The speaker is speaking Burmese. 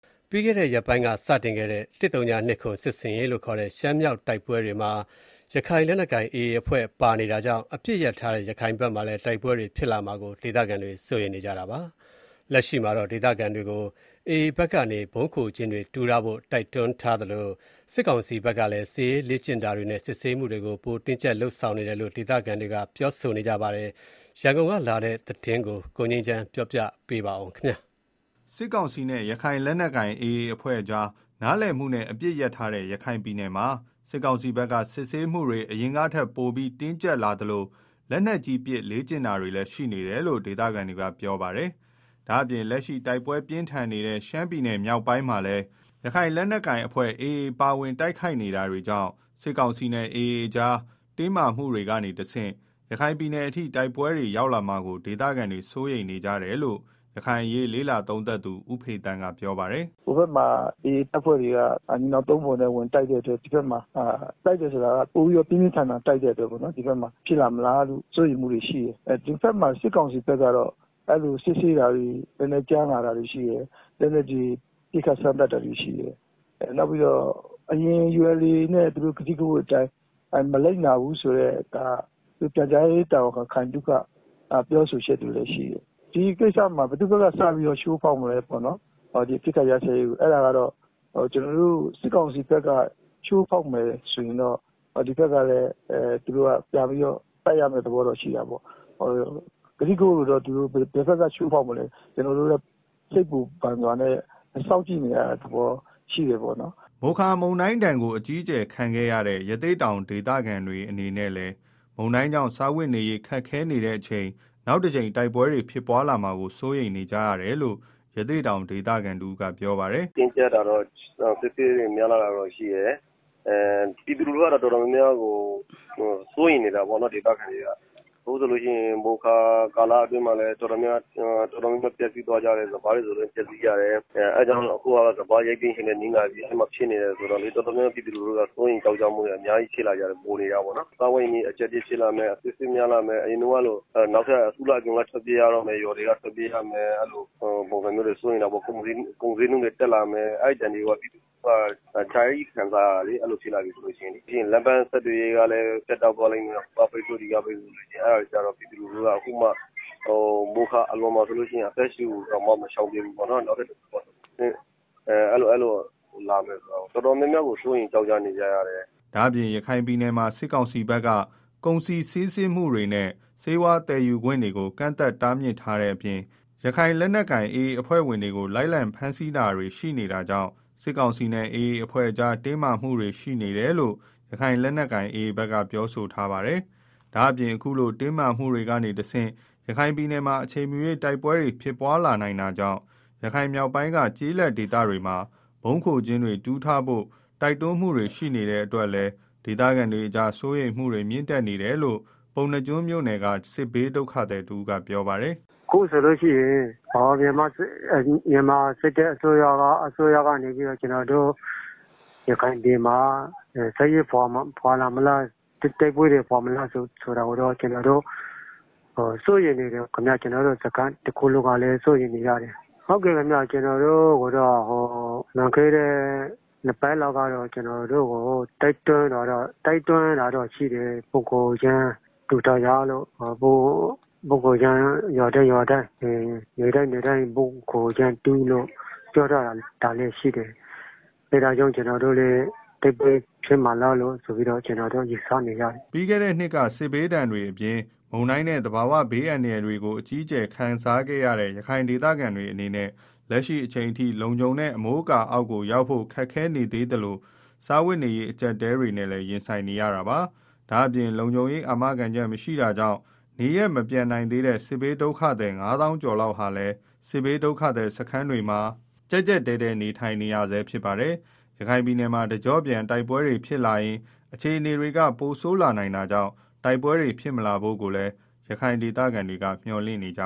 ပြီးခဲ့တဲ့ ရက်ပိုင်းက စတင်ခဲ့တဲ့ ၁၀၂၇ စစ်ဆင်ရေးလို့ခေါ်တဲ့ ရှမ်းမြောက်တိုက်ပွဲတွေမှာ ရခိုင် လက်နက်ကိုင် AA အဖွဲ့ပါဝင်နေတာကြောင့် အပစ်ရပ်ထားတဲ့ ရခိုင်မှာ တိုက်ပွဲတွေဖြစ်လာမှာကို ဒေသခံတွေက စိုးရိမ်နေကြတာပါ။ လက်ရှိမှာတော့ ဒေသခံတွေကို AA ဘက်ကနေ ဗုံးခို ကျင်းတွေ တူးထားဖို့ တိုက်တွန်းထားသလို စစ်ကောင်စီဖက်ကလည်း စစ်ရေးလေ့ကျင့်တာတွေ နဲ့ စစ်ဆေးမှုတွေပိုတင်းကြပ်လာတယ်လို့ ဒေသခံတွေက ပြောဆိုကြပါတယ်။ ရန်ကုန်ကလာတဲ့ သတင်းကို ကိုငြိမ်းချမ်း ကတင်ပြပေးပါမယ်။ စစ်ကောင်စီနဲ့ ရခိုင် လက်နက်ကိုင် AA အဖွဲ့ကြား နားလည်မှုနဲ့ အပစ်ရပ်ထားတဲ့ ရခိုင်ပြည်နယ်မှာ စစ်ကောင်စီဘက်က စစ်ဆေးမှုတွေ အရင်ကထက်ပိုပြီးတော့ တင်းကြပ်လာသလို လက်နက်ကြီးပစ် လေ့ကျင့်တာတွေ ရှိနေတယ်လို့ ဒေသခံတွေက ပြောဆိုကြပါတယ်။ ဒါ့အပြင်လက်ရှိ တိုက်ပွဲပြင်းထန်နေတဲ့ ရှမ်းမြောက်တိုက်ပွဲတွေမှာလည်း ရခိုင်လက်နက်ကိုင် AAအဖွဲ့ ပါဝင် တိုက်ခိုက်နေတာတွေကြောင့် စစ်ကောင်စီနဲ့ AAအဖွဲ့ကြား တင်းမာမှုတွေကနေတဆင့် ရခိုင်အထိ တိုက်ပွဲတွေ ရောက်လာမှာကို ဒေသခံတွေ စိုးရိမ်နေကြတယ်လို့ ရခိုင်အရေး လေ့လာသုံးသပ်သူ ဦးဖေသန်းက ပြောပါတယ်။ “ ဟိုဘက်မှာ AA က ညီနောင်သုံးဖော်နဲ့ ဝင်တိုက်တဲ့အတွက် တိုက်တယ်ဆိုတာကလည်း ပိုပြီးတော့ ပြင်းပြင်းထန်ထန်တိုက်တယ်ပေါ့နော် အဲဒါကြောင့် ဒီဘက်မှာ ဖြစ်လာမလားလို့ စိုးရိမ်မှုတွေ ရှိတယ်၊ ဒီဘက်မှာ စစ်ကောင်စီဘက်ကတော့ စစ်ဆေးတာတွေ ကြမ်းလာတယ်၊ လက်နက်တွေ ပစ်ခတ် စမ်းသပ် တာတွေရှိတယ်၊ နောက်ပြီးတော့ ULA/AAနဲ့ ထားထားတဲ့ ကတိကဝတ်တွေကို မလိုက်နာဘူးဆိုပြီး ပြန်ကြားရေးတာဝန်ခံ ခိုင်သုခ ပြောထားတာလည်း ရှိတယ်၊ ဆိုတော့ ဒီကိစ္စမှာ ဘယ်သူ့ဘက်က စပြီးတော့ အပစ်ခတ်ရပ်စဲရေး ကို ချိုးဖောက်မလဲ စစ်ကောင်စီဘက်က ချိုးဖောက်မယ်ဆိုရင်တော့ ဒီဘက်ကလည်း ပြန်ပြီးတော့ တိုက်ရမယ့် သဘောရှိတယ်။ ဘယ်ဘက်က ချိုးဖောက်မလဲဆိုတာ ကျနော်တို့လည်း စိုးရိမ်ပူပန်မှုတွေနဲ့ စောင့်ကြည့်နေရတဲ့ သဘောရှိတာပေါ့နော်။” မိုခါမုန်တိုင်း တိုက်ခတ်မှုဒဏ်ကို အကြီးအကျယ်ခံခဲ့ရတဲ့ ရသေ့တောင် ဒေသခံတွေ အနေနဲ့လည်း မုန်တိုင်းကြောင့် စားဝတ်နေရေး ခက်ခဲနေတဲ့ အချိန် နောက်ထပ်တကြိမ် တိုက်ပွဲဖြစ်လာမှာကို စိုးရိမ်နေကြရတယ်လို့ ရသေ့တောင် ဒေသခံတဦးကပြောပါတယ်။ “ တင်းကြပ်တာတွေ စစ်ဆေးတွေ များလာတာတော့ရှိတယ်၊ ဒေသခံ ပြည်သူတွေ တော်တော် များများ ကတော့ စိုးရိမ်နေကြတာပေါ့နော်၊ မိုခါတုန်းကလည်း ပျက်စီးကြတယ် စပါးတွေ ဆိုရင်လည်း ပျက်စီးကြတယ်၊ အဲတာကြောင့် အခုကလည်း စပါးရိတ်သိမ်းချိန်နဲ့ နီးလာပြီဆို တော့ တော်တော်များများ ပြည်သူတွေက စိုးရိမ်နေကြတယ်၊ စားဝတ်နေရေး ကြပ်တည်း လာမယ်။ အစစ်အဆေး များလာမယ်၊ အရင်ကလို နောက်ထပ် အစုလိုက်အပြုံလိုက် ထွက် ပြေးရမယ်၊ ကုန်ဈေးနှုန်းတွေ တက်လာမယ်။ အဲဒဏ်တွေကို ပြည်သူလူထုက အကြကြီး ခံစား ရတာဆိုတော့ တိုက်ပွဲဖြစ်လာရင် ပြီးရင်ဆက်သွယ်ရေး ပြတ်တောက်မှာတွေ၊ ဟိုက ပိတ်ဆို့ ဒီက ပိတ်ဆို့နဲ့တော့ မိုခါအလွန် အသက်ရှုတောင် မချောင်သေးတဲ့ အချိန် နောက်ထပ် တိုက်ပွဲ ဖြစ်လာမှာကို တော်တော် စိုးရိမ်နေကြတယ်။” ဒါ့အပြင် ရခိုင်ပြည်နယ်မှာ စစ်ကောင်စီဘက်က ကုန်စည်စီးဆင်းမှုတွေနဲ့ ဆေးဝါးသယ် ယူခွင့်တွေကို ကန့်သတ်တားမြစ်ထားတဲ့ အပြင် ရခိုင်လက်နက်ကိုင် AA အဖွဲ့ဝင်တွေကို လိုက်လံဖမ်းဆီးတာတွေ AAအမာခံတွေကို ဖမ်းဆီးတာတွေ ရှိနေတာကြောင့် စစ်ကောင်စီနဲ့ AAအဖွဲ့ကြား တင်းမာမှုတွေ ရှိနေတယ်လို့ ရခိုင်လက်နက်ကိုင် AA က ပြောဆိုထားပါတယ်။ ဒါ့အပြင် အခုလို တင်းမာမှုတွေကနေတဆင့် ရခိုင်မှာ အချိန်မရွေးတိုက်ပွဲ ဖြစ်လာနိုင်တာကြောင့် ရခိုင်မြောက်ပိုင်းက ကျေး လက်ဒေသတွေမှာ ဗုံးခိုကျင်းတွေ တူးထားဖို့ပါ တိုက်တွန်းမှုတွေ ရှိနေတဲ့ အတွက်ကြောင့် ဒေသခံတွေကြား စိုးရိမ်မှုတွေ မြင့်တက်နေကြတယ်လို့ ပုဏ္ဏားကျွန်းမြို့ နယ်က စစ်ဘေးဒုက္ခသည် တဦးကပြောပါတယ်။ “ အခုဆိုလို့ရှိရင် စစ်တပ်က ကျနော်တို့ ရခိုင်ပြည်နယ်မှာ တိုက်ပွဲတွေ ဖော်မလားဆိုတာကိုတော့ ကျနော်တို့ စိုးရိမ်နေကြတယ်၊ ကျနော်တို့ ဒုက္ခသည်စခန်း တခုလုံးကလည်း စိုးရိမ်နေကြတယ်၊ ကျနော်တို့ကို လွန်ခဲ့တဲ့ ၂ပတ်လောက်က တိုက်တွန်းတာ ရှိတယ် ဗုံးခိုကျင်းတွေ တူးထားကြ ရွာတိုင်း နယ်တိုင်းမှာ ဗုံးခိုကျင်းတူးလို့ ပြောထားတာတော့ရှိတယ်၊ အဲဒါကြောင့် တိုက်ပွဲ ဖြစ်လာမလားလို့ ကျနော်တို့ စိုးရိမ်နေကြတယ်။” ပြီးခဲ့တဲ့ နှစ်တွေက စစ်ဘေးဒဏ်တွေ အပြင် မုန်တိုင်းနဲ့ သဘာဝဘေး အန္တရာယ်တွေကို အကြီးအကျယ်ခံခဲ့ရတဲ့ ရခိုင်ဒေသခံတွေ အနေနဲ့ လက်ရှိအချိန် အထိ လုံခြုံတဲ့ အမိုးအကာ အောက်ကို ရောက်ဖို့ ခက်ခဲနေသေးသလို စားဝတ်နေရေး အကြပ်အတည်းတွေနဲ့ ရင်ဆိုင် နေကြရဆဲပါ။ ဒါ့အပြင် လုံခြုံရေး အာမခံချက်မရှိတာကြောင့် နေရပ်မပြန်နိုင်သေးတဲ့ စစ်ဘေး ဒုက္ခသည် ၅သောင်းကျော် လောက်ဟာလည်း စစ်ဘေးဒုက္ခသည် စခန်းတွေမှာ ကြပ်ကြပ်တည်း တည်း နေထိုင်နေရဆဲ ဖြစ်ပါတယ်။ ရခိုင်မှာ တကျော့ပြန်တိုက်ပွဲတွေ ဖြစ်လာရင် အခြေနေက ပိုဆိုးလာနိုင်တာကြောင့် တိုက်ပွဲတွေ ဖြစ်မလာဖို့ ရခိုင်ဒေသခံတွေ မျှော်လင့်နေကြ